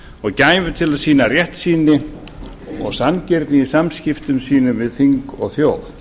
og gæfu til að sýna réttsýni og sanngirni í samskiptum sínum við þing og þjóð